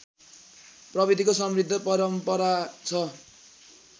प्रविधिको समृद्ध परम्परा छ